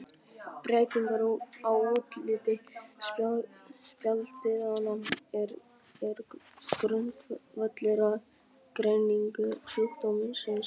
Breytingar á útliti spjaldliðanna eru grundvöllur að greiningu sjúkdómsins.